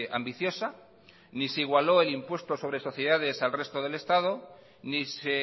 ambiciosa ni se igualó el impuesto sobre sociedades al resto del estado ni se